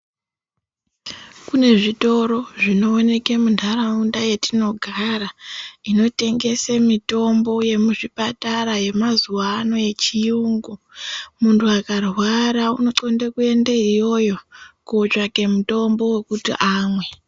Kune zvitoro zvinooke munharaunda yatinogara inotengese mitombo yemuzvipatara yemazuwa ano yechiyungu munhu akarwara unonxlonde kuyendeyo iyoyo kotsvake mutombo wekuti amwe.